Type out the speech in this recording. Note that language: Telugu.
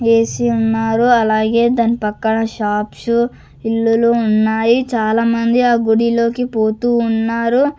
ఏసి ఉన్నారు అలాగే దాని పక్కన షాప్సు ఇల్లులు ఉన్నాయి చాలా మంది ఆ గుడిలోకి పోతూ ఉన్నారు.